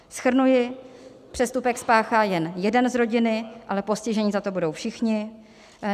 Shrnuji - přestupek spáchá jen jeden z rodiny, ale postiženi za to budou všichni.